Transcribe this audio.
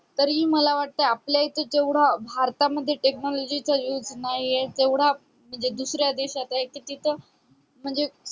तरी हि मला वाटत आपल्या इथे जेवढा भारत मध्ये technology च technology चा used नाही तेवढा म्हणजे दुसऱ्या देशाच्या एक त तिथे म्हणजे